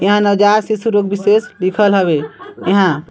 एहा नवजात शिशु रोग विशेषज्ञ लिखल हवे यहाँ--